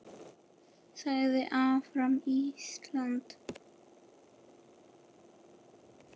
Lagið Áfram Ísland!